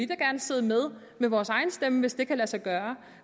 gerne sidde med med vores egen stemme hvis det kan lade sig gøre